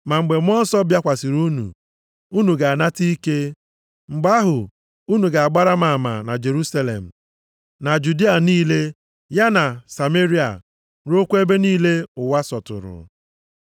Ma mgbe Mmụọ Nsọ bịakwasịrị unu, unu ga-anata ike. Mgbe ahụ, unu ga-agbara m ama na Jerusalem, na Judịa niile ya na Sameria ruokwa ebe niile ụwa sọtụrụ.”